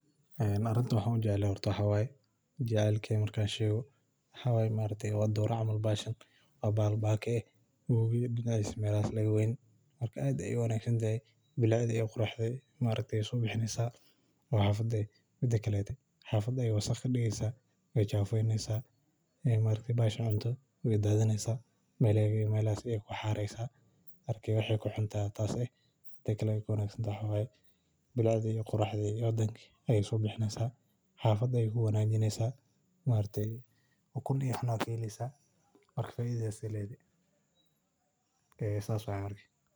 Arintan waxaa ujecelyoho waxaa waye jacelkey marka an shego waxaa waye wowiga dinacisa laga mawayo marka aad ayey u wanagsan tahay xafada ayey wasaqeynesa marka te kuxuntahay tas waye marka waxaa keheleysa xafada ayey ku qurxineysa ukun aya kaheleysa waa ibineysa lacag aya kaheleysa marka sithas ayey uficantahay faidhadedana lama sokowi karo.